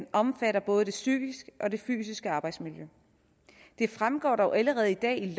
omfatter både det psykiske og det fysiske arbejdsmiljø det fremgår dog allerede i dag i